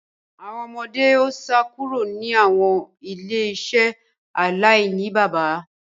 Awọn ọmọde o sá kúrò ni awọn ile-iṣẹ alainibaba